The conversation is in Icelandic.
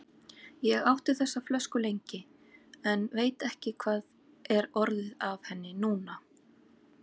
Ég átti þessa flösku lengi, en veit ekki hvað er orðið af henni núna.